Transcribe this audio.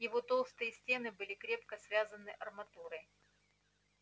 его толстые стены были крепко связаны арматурой